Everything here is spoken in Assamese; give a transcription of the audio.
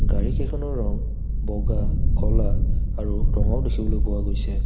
গাড়ীকেইখনৰ ৰং বগা ক'লা আৰু ৰঙাও দেখিবলৈ পোৱা গৈছে।